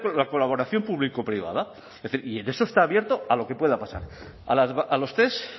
la colaboración público privada es decir y en eso estoy abierto a lo que pueda pasar a los test